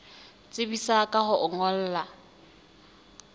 tsebisa ka ho o ngolla